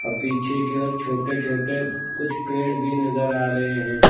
पीछे की ओर छोटे छोटे कुछ पेड़ भी नजर आ रहे हैं।